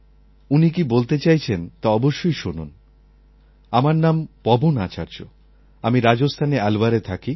উনি কি বলতে চাইছেন তা অবশ্যই শুনুন আমার নাম পবন আচার্য আমি রাজস্থানের আলওয়ারে থাকি